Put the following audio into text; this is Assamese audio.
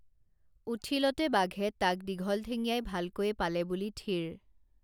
উঠিলতে বাঘে তাক দীঘল ঠেঙীয়াই ভালকৈয়ে পালে বুলি থিৰ